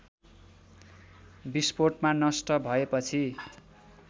विस्फोटमा नष्ट भएपछि